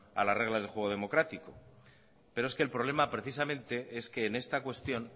a las reglas del juego democrático pero es que el problema precisamente es que en esta cuestión